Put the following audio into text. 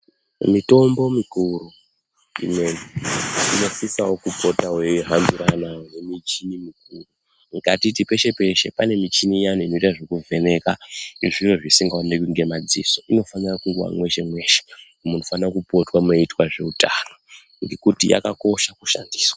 Mitombo mikuru inosisavo kupota veihambirana ngemichini mikuru. Ngatiti peshe-peshe pane michini iya inotoita zvekuvheneka nezviro zviyani zvisingaoneki ngemadziso inofanira kungova meshe-meshe munofanira kupota meiitwa ngezveutano ngekuti yakakosha kushandiswa.